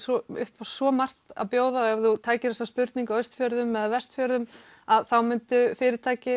upp á svo margt að bjóða ef þú tækir þessa spurningu á Austfjörðum eða Vestfjörðum þá myndu fyrirtæki